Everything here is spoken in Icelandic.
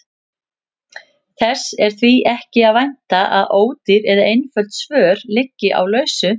Þess er því ekki að vænta að ódýr eða einföld svör liggi á lausu.